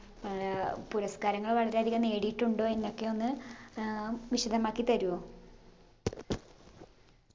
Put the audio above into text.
ഏർ പുരസ്‌കാരങ്ങൾ വളരെയധികം നേടിയിട്ടുണ്ടോ എന്നൊക്കെ ഒന്ന് ഏർ വിശദമാക്കി തരുവോ